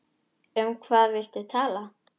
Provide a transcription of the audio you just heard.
Um hvað viltu tala?